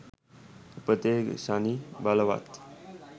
උපතේ ශනි බලවත්